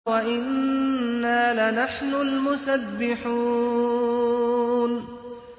وَإِنَّا لَنَحْنُ الْمُسَبِّحُونَ